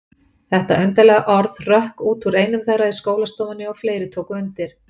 Þetta undarlega orð hrökk út úr einum þeirra í skólastofunni og fleiri tóku undir.